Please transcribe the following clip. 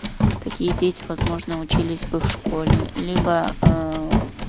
такие дети возможны учились в школе либо аа